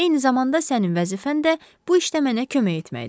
Eyni zamanda sənin vəzifən də bu işdə mənə kömək etməkdir.